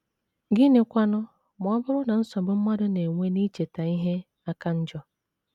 Gịnịkwanụ ma ọ bụrụ na nsogbu mmadụ na - enwe n’icheta ihe aka njọ?